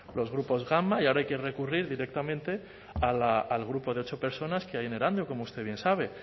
gama y ahora hay que recurrir directamente al grupo de ocho personas que hay en erandio como usted bien sabe